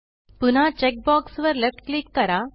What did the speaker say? पुन्हा check box वर left click करा